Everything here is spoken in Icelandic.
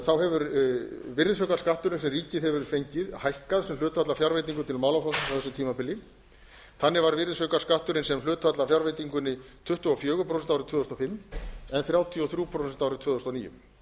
þá hefur virðisaukaskatturinn sem ríkið hefur fengið hækkað sem hlutfall af fjárveitingum til málaflokksins á þessu tímabili þannig var virðisaukaskatturinn sem hlutfall af fjárveitingunni tuttugu og fjögur prósent árið tvö þúsund og fimm en þrjátíu og þrjú prósent árið tvö þúsund og níu